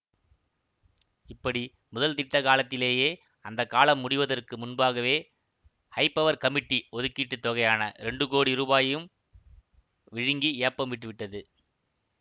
இப்படி முதல் திட்ட காலத்திலேயே அந்த காலம் முடிவதற்கு முன்பாகவே ஹைபவர் கமிட்டி ஒதுக்கீட்டுத் தொகையான இரண்டு கோடி ரூபாயையும் விழுங்கி ஏப்பம் விட்டு விட்டது